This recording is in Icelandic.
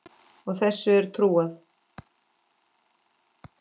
Og þessu er trúað.